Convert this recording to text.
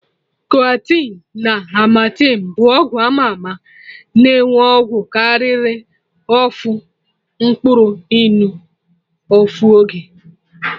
Coartem na amartem bụ ọgwụ ama ama na enwe ọgwụ karịrị ofu mkpụrụ ịnụ ofu oge